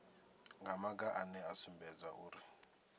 maga ane a sumbedza uri